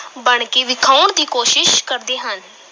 ਬਣਕੇ ਵਿਖਾਉਣ ਦੀ ਕੋਸ਼ਿਸ਼ ਕਰਦੇ ਹਨ।